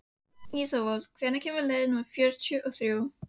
Ísafold, hvenær kemur leið númer fjörutíu og þrjú?